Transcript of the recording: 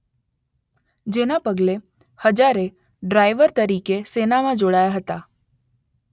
જેના પગલે હજારે ડ્રાઈવર તરીકે સેનામાં જોડાયા હતા.